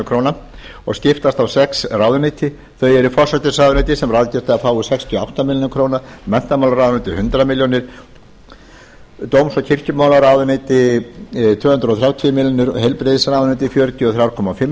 króna og skiptast á sex ráðuneyti þau eru forsætisráðuneyti sem ráðgert er að fái sextíu og átta milljónir króna menntamálaráðuneyti hundrað milljónir króna dóms og kirkjumálaráðuneyti tvö hundruð þrjátíu milljónir króna heilbrigðisráðuneyti fjörutíu og þrjú og hálfa